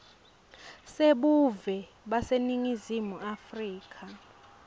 sebuve baseningizimu afrika